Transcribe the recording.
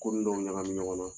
Koni dɔw ɲagami ɲɔgɔn na.